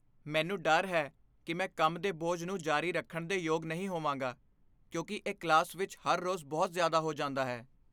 ਮੈਨੂੰ ਡਰ ਹੈ ਕਿ ਮੈਂ ਕੰਮ ਦੇ ਬੋਝ ਨੂੰ ਜਾਰੀ ਰੱਖਣ ਦੇ ਯੋਗ ਨਹੀਂ ਹੋਵਾਂਗਾ ਕਿਉਂਕਿ ਇਹ ਕਲਾਸ ਵਿੱਚ ਹਰ ਰੋਜ਼ ਬਹੁਤ ਜ਼ਿਆਦਾ ਹੋ ਜਾਂਦਾ ਹੈ।